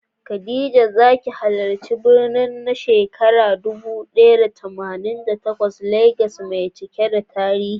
Khadija ta ziyarci birnin na shekarar dubu ɗaya da tamanin da takwas Legas mai cike da tarihi.